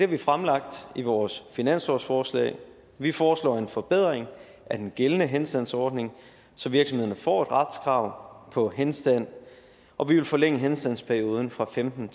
vi fremlagt i vores finanslovsforslag vi foreslår en forbedring af den gældende henstandsordning så virksomhederne får et retskrav på henstand og vi vil forlænge henstandsperioden fra femten